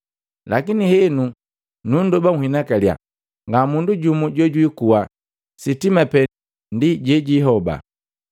Lakini henu nundoba nhinakaliya, nga mundu jumu jojwiikuha, sitima pee ndi jejiihoba.”